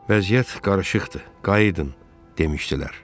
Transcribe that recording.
Vəziyyət qarışıqdır, qayıdın demişdilər.